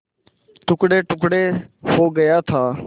टुकड़ेटुकड़े हो गया था